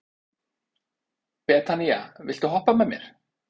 Betanía, viltu hoppa með mér?